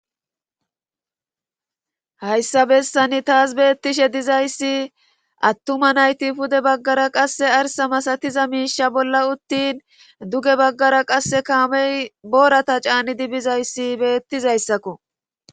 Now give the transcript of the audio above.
Hayssa bessani taas beettishe dizayssi attuma nayti pude baggara qasse arsa masatiza miisha bolla uttin duge baggara qasse kaamey boorata caanidi bizayssi beettizayssakko.